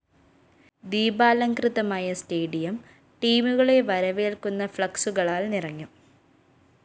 ദീപാലംകൃതമായ stadium ടീമുകളെ വരവേല്‍ക്കുന്ന ഫ്‌ളക്‌സുകളാല്‍ നിറഞ്ഞു